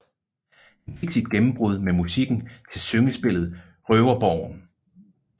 Han fik sit gennembrud med musikken til syngespillet Røverborgen